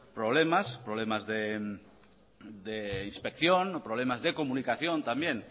problemas problemas de inspección problemas de comunicación también